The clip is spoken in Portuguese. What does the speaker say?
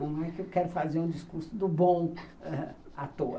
Não é que eu quero fazer um discurso do bom à toa.